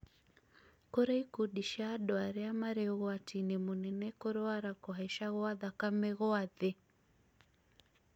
kũrĩ ikundi cia andũ arĩ marĩ ũgwati-inĩ mũnene kũrwara kũhaica gwa thakame gwa thĩ